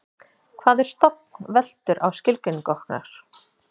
hvað er stofn veltur á skilgreiningu okkar